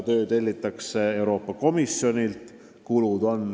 Töö tellitakse Euroopa Komisjonist.